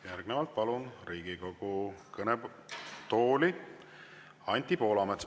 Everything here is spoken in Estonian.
Järgnevalt palun Riigikogu kõnetooli Anti Poolametsa.